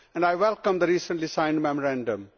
I welcome the recently signed Memorandum.